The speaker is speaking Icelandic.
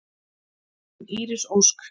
Þín Íris Ósk.